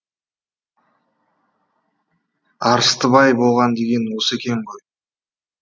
арыстыбай болған деген осы екен ғой